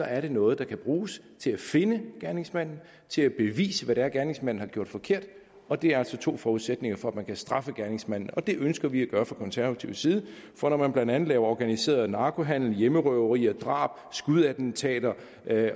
er det noget der kan bruges til at finde gerningsmanden til at bevise hvad det er gerningsmanden har gjort forkert og det er altså to forudsætninger for at man kan straffe gerningsmanden og det ønsker vi fra konservativ side at for når man blandt andet laver organiseret narkohandel hjemmerøverier drab skudattentater